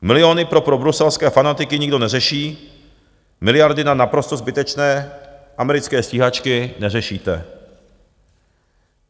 Miliony pro probruselské fanatiky nikdo neřeší, miliardy na naprosto zbytečné americké stíhačky neřešíte.